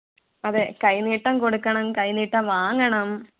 അതെ കൈനീട്ടം കൊടുക്കണം കൈനീട്ടം വാങ്ങണം